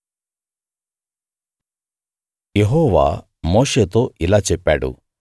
యెహోవా మోషేతో ఇలా చెప్పాడు